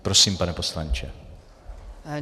Prosím, pane poslanče.